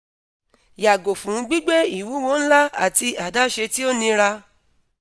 yago fun gbigbe iwuwo nla ati adaṣe ti o nira